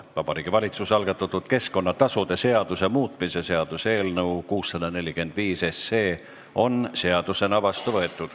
Vabariigi Valitsuse algatatud keskkonnatasude seaduse muutmise seaduse eelnõu 645 on seadusena vastu võetud.